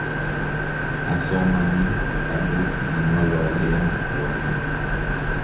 asomani kitabut neng'ololen tyongik